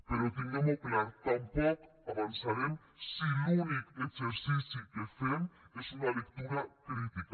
però tinguem ho clar tampoc avançarem si l’únic exercici que fem és una lectura crítica